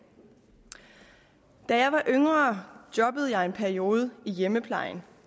da jeg var yngre jobbede jeg i en periode i hjemmeplejen